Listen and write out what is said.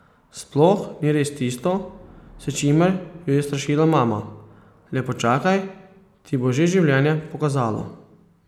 Sploh ni res tisto, s čimer ju je strašila mama, le počakaj, ti bo že življenje pokazalo.